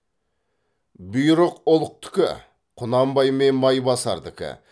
бұйрық ұлықтікі құнанбай мен майбасардікі